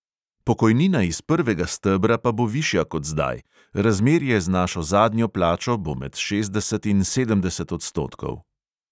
Pokojnina iz prvega stebra pa bo višja kot zdaj, razmerje z našo zadnjo plačo bo med šestdeset in sedemdeset odstotkov.